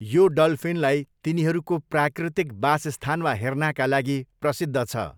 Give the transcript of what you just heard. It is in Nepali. यो डल्फिनलाई तिनीहरूको प्राकृतिक बासस्थानमा हेर्नाका लागि प्रसिद्ध छ।